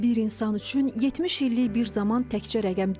Bir insan üçün 70 illik bir zaman təkcə rəqəm deyil.